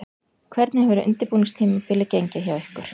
Hvernig hefur undirbúningstímabilið gengið hjá ykkur?